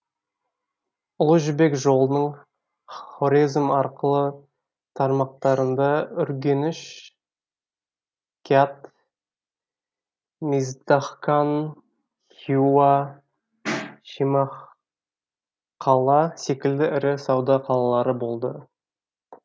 ұлы жібек жолының хорезм арқылы тармақтарында үргеніш кят миздахкан хиуа шемахқала секілді ірі сауда қалалары болды